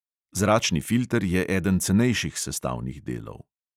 Zračni filter je eden cenejših sestavnih delov.